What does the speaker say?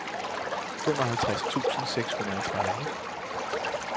femoghalvtreds tusind seks hundrede og tredive